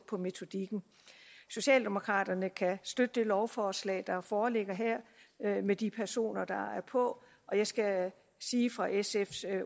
af metodikken socialdemokraterne kan støtte det lovforslag der foreligger her med de personer der er på og jeg skal sige fra sfs